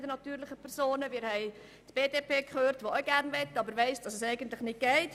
Die BDP hat gesagt, dass sie auch gerne etwas tun möchte, aber sie weiss, dass das eigentlich nicht geht.